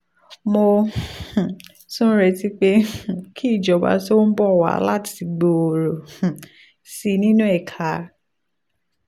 mo um tún retí pé um kí ìjọba tó ń bọ̀ wá láti gbòòrò um sí i nínú ẹ̀ka